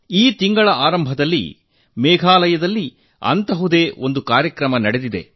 ಈ ತಿಂಗಳ ಆರಂಭದಲ್ಲಿ ಮೇಘಾಲಯದಲ್ಲಿ ಅಂತಹುದೇ ಒಂದು ಕಾರ್ಯಕ್ರಮ ನಡೆದಿದೆ